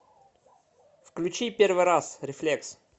включи первый раз рефлекс